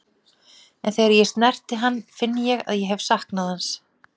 En þegar ég snerti hann finn ég að ég hef saknað hans.